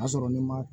O y'a sɔrɔ n'i ma